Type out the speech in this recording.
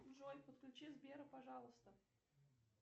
джой подключи сбера пожалуйста